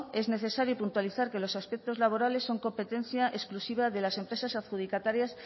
es necesario puntualizar que los aspectos laborales son competencia exclusiva de las empresas adjudicatarias